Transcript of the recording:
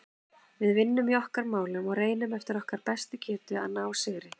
Við vinnum í okkar málum og reynum eftir okkar bestu getu að ná sigri.